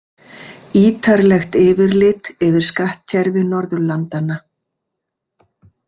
Ýtarlegt yfirlit yfir skattkerfi Norðurlandanna.